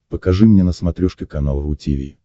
покажи мне на смотрешке канал ру ти ви